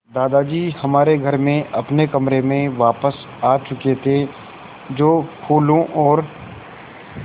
दादाजी हमारे घर में अपने कमरे में वापस आ चुके थे जो फूलों और